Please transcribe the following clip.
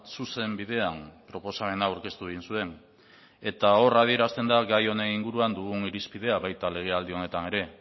zuzen bidean proposamena aurkeztu egin zuen eta hor adierazten da gai honen inguruan dugun irizpidea baita legealdi honetan ere